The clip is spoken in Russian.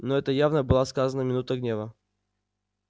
ну это явно было сказано в минуту гнева